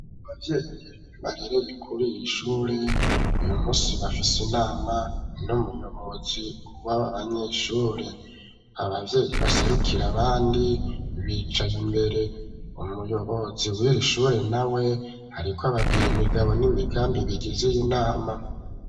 Abavyeyi barereye kuriri shure uyu musi bafise inama n'umuyobozi wab banyeshure abavyeyi baserukira abandi bicaye imbere umuyobozi wiri shure nawe ariko ababwire imigabo n'imigambi bigize iyi nama